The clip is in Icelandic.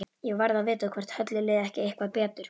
Ég varð að vita hvort Höllu liði ekki eitthvað betur.